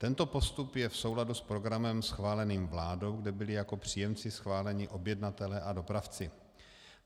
Tento postup je v souladu s programem schváleným vládou, kde byli jako příjemci schváleni objednatelé a dopravci.